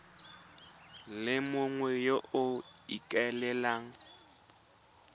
le mongwe yo o ikaelelang